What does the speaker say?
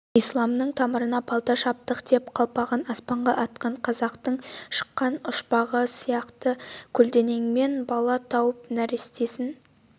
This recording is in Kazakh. исламның тамырына балта шаптық деп қалпағын аспанға атқан қазақтың шыққан ұшпағы қайсы көлденеңмен бала тауып нәрестесін